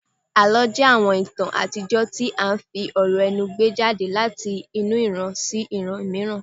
Àlọ́ jẹ́ àwọn ìtàn àtijọ́ tí à ń fi ọ̀rọ̀ ẹnu gbé jáde láti ẹnu ìran sí ìran mìíràn